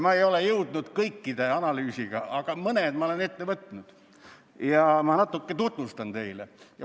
Ma ei ole jõudnud kõiki analüüsida, aga mõned ma olen ette võtnud ja natuke tutvustan neid teile.